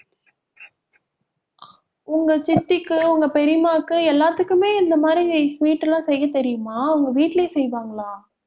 உங்க சித்திக்கு உங்க பெரியம்மாக்கு, எல்லாத்துக்குமே இந்த மாதிரி sweet எல்லாம் செய்ய தெரியுமா அவங்க வீட்டிலேயே செய்வாங்களா